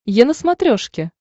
е на смотрешке